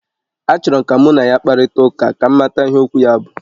Achọrọ m ka mụ na ya kparịta ụka, ka m mata ihe okwu ya bụ